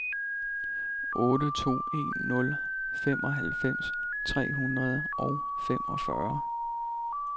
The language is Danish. otte to en nul femoghalvfems tre hundrede og femogfyrre